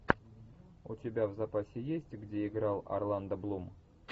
у тебя в запасе есть где играл орландо блум